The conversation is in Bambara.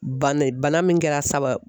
Bana min kɛra sababu ye